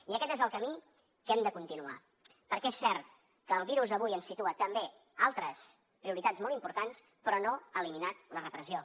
i aquest és el camí que hem de continuar perquè és cert que el virus avui ens situa també altres prioritats molt importants però no ha eliminat la repressió